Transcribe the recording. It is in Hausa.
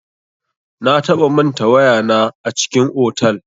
Na taɓa manta waya na a cikin otal.